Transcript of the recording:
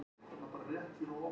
Svellköld Sandra.